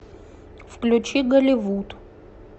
включи голливуд